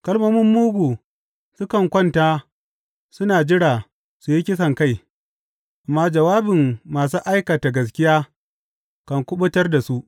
Kalmomin mugu sukan kwanta suna jira su yi kisankai, amma jawabin masu aikata gaskiya kan kuɓutar da su.